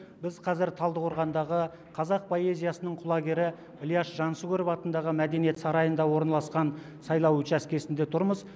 біз қазір талдықорғандағы қазақ поэзиясының құлагері ілияс жансүгіров атындағы мәдениет сарайында орналасқан сайлау учаскесінде тұрмыз